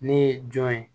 Ne ye jɔn ye